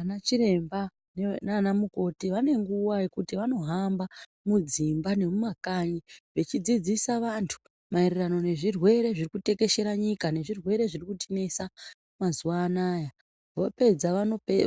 Anachiremba nana mukoti vanenguva yekuti vanohamba mudzimba nemumakanyi vechidzidzisa vantu maererano nezvirwere zvirikutekeshera nyika. Nezvirwere zviri kutinesa mazuva anaya. Vopedza